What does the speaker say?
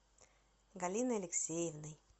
галиной алексеевной